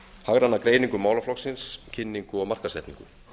hagræna greiningu málaflokksins kynningu og markaðssetningu